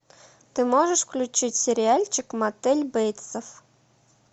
ты можешь включить сериальчик мотель бейтсов